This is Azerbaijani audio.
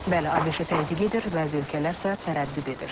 Bəli, ABŞ-ə təzyiq edir, bəzi ölkələr isə tərəddüd edir.